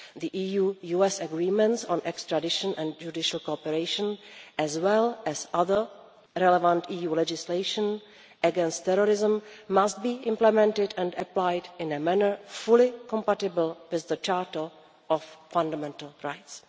The EU US agreements on extradition and judicial cooperation, as well as other relevant EU legislation against terrorism, must be implemented and applied in a manner fully compatible with the Charter of Fundamental Rights.